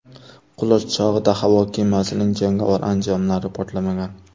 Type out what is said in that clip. Qulash chog‘ida havo kemasining jangovar anjomlari portlamagan.